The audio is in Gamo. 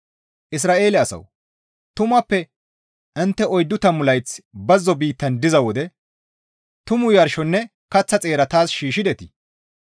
«Isra7eele asawu! Tumappe intte oyddu tammu layth bazzo biittan diza wode tumu yarshonne kaththa xeera taas shiishshidetii?